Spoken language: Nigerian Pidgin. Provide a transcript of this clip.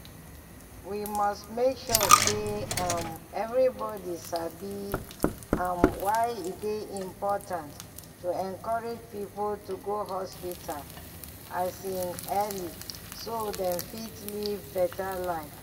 we must make sure say um everybody sabi um why e dey important to encourage people to go hospital um early so dem fit live better life.